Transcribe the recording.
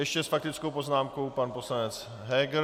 Ještě s faktickou poznámkou pan poslanec Heger.